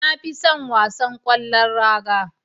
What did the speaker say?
Na fi son wasan ƙwallon raga